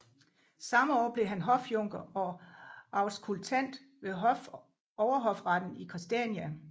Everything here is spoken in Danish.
Samme år blev han hofjunker og auskultant ved Overhofretten i Christiania